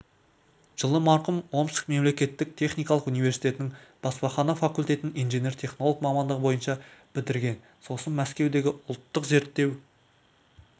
жылы марқұм омск мемлекеттік техникалық университетінің баспахана факультетін инженер-технолог мамандығы бойынша бітірген сосын мәскеудегі ұлттық зерттеу